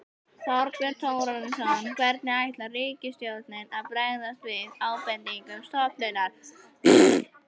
Þorbjörn Þórðarson: Hvernig ætlar ríkisstjórnin að bregðast við ábendingum stofnunarinnar?